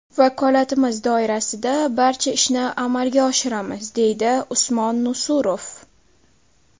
Vakolatimiz doirasida barcha ishni amalga oshiramiz”, deydi Usmon Nusurov.